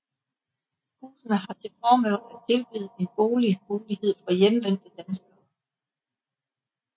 Husene har til formål at tilbyde en boligmulighed for hjemvendte danskere